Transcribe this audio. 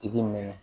Tigi mɛnna